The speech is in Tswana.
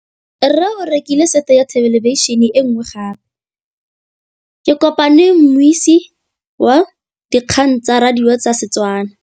Rre o rekile sete ya thêlêbišênê e nngwe gape. Ke kopane mmuisi w dikgang tsa radio tsa Setswana.